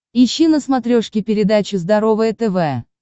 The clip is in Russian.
ищи на смотрешке передачу здоровое тв